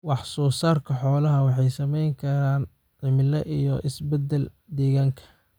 Wax-soo-saarka xoolaha waxaa saamayn kara cimilada iyo is-beddelka deegaanka.